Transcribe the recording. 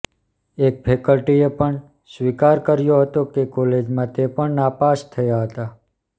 એક ફેકલટીએ પણ સ્વીકાર કર્યો હતો કે કોલેજમાં તે પણ નાપાસ થયા હતા